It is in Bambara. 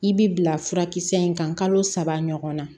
I bi bila furakisɛ in kan kalo saba ɲɔgɔn na